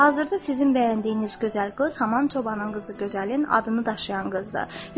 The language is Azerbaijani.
Hazırda sizin bəyəndiyiniz gözəl qız Haman çobanın qızı, gözəlin adını daşıyan qızdır.